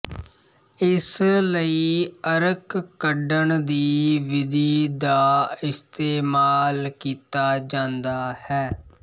ਇਸ ਲਈ ਅਰਕ ਕੱਢਣ ਦੀ ਵਿਧੀ ਦਾ ਇਸਤੇਮਾਲ ਕੀਤਾ ਜਾਂਦਾ ਹੈ